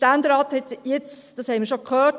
Wir haben es bereits gehört: